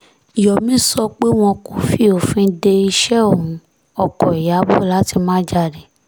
yomi sọ pé wọn kò fi òfin de iṣẹ́ òun ọkọ̀ ìyàbọ̀ láti má jáde